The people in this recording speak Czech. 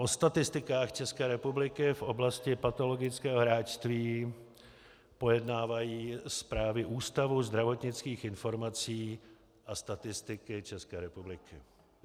O statistikách České republiky v oblasti patologického hráčství pojednávají zprávy Ústavu zdravotnických informací a statistiky České republiky.